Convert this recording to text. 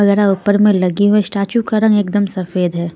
वगैरह ऊपर में लगी हुए स्टैचू का रंग एकदम सफेद है.